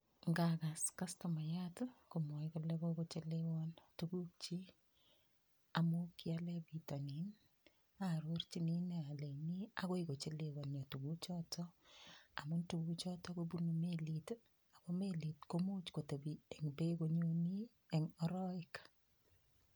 Ngagas customayiat komwaei kole kokochelewon tukukchi amun kiale pitonin, aarorchini ine aleini agoi kochelewanio tukuchotok . Amun tukuchotok kobunu melit ako melit komuch kotepi eng beek konyoni eng arowek.